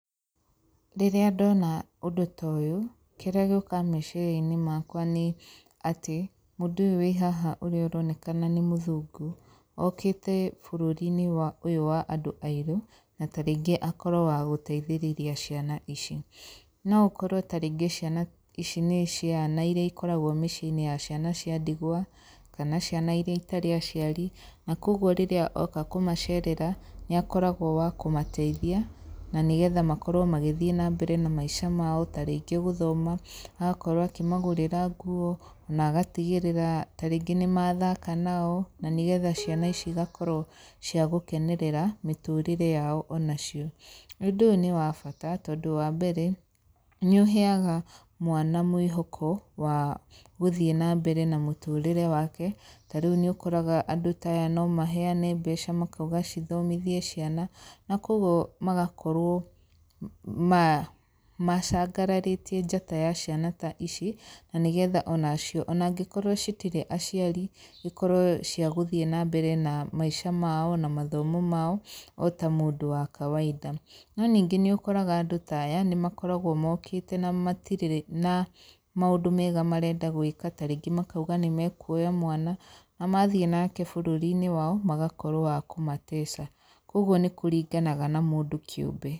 Rĩrĩa ndona ũndũ toyũ, kĩrĩa gĩũkaga meciria-inĩ makwa nĩ atĩ, mũndũ ũyũ wĩ haha ũyũ ũronekana nĩ mũthũngũ, okĩte bũrũri-inĩ wa ũyũ wa andũ airũ, na ta rĩngĩ akorwo wa gũteithĩrĩria ciana ici. No ũkorwo ta rĩngĩ ciana ici nĩ ciana iria ikoragwo mĩciĩ-inĩ ya ciana cia ndigwa, kana ciana iria itarĩ aciari, na koguo rĩrĩa oka kũmacerera, nĩ akoragwo wa kũmateithia, na nĩgetha makorwo magĩthiĩ nambere na maica mao, ta rĩngĩ gũthoma, agakorwo akĩmagũrĩra ta nguo, ona agatigĩrĩra ta rĩngĩ nĩ mathaka nao, na nĩgetha ciana ici igakorwo ciagũkenerera mĩtũrĩre yao ona cio. Ũndũ ũyũ nĩ wa bata tondũ wambere, nĩ ũheaga mwana mwĩhoko wa gũthiĩ nambere na mũtũrĩre wake, ta rĩu nĩ ũkoraga andũ ta aya no maheane mbeca makauga cithomithie ciana, na koguo magakorwo ma macangararĩtie njata ya ciana ta ici, na nĩgetha onacio onangĩkorwo citirĩ aciari, ikorwo cia gũthiĩ nambere na maica mao, na mathomo mao, ota mũndũ wa kawaida. No ningĩ nĩ ũkoraga andũ ta aya nĩ makoragwo mokĩte na matirĩ na maũndũ mega marenda gwĩka, ta rĩngĩ makauga nĩ mekuoya mwana, na mathiĩ nake bũrũri-inĩ wao, magakorwo wa kũmateca, koguo nĩ kũringanaga na mũndũ kĩũmbe.